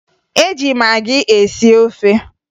E ji magị esi ofe